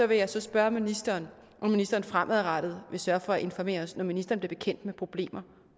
vil jeg spørge ministeren om ministeren fremadrettet vil sørge for at informere os når ministeren bliver bekendt med problemer